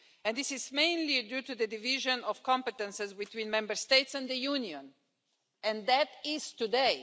This is mainly due to the division of competences between Member States and the Union, and that is today.